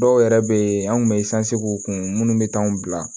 Dɔw yɛrɛ bɛ yen an kun bɛ k'u kun minnu bɛ taa anw bila